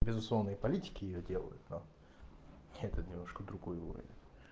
безусловные политики её делают это немножко другой уровень